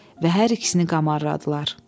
Və hər ikisini qamarladılar.